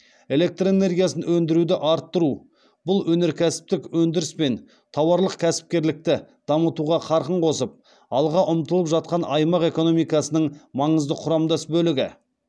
электр энергиясын өндіруді арттыру бұл өнеркәсіптік өндіріс пен тауарлық кәсіпкерлікті дамытуға қарқын қосып алға ұмтылып жатқан аймақ экономикасының маңызды құрамдас бөлігі